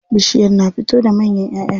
Bishiyar na fito da manyan ƴaʼƴa.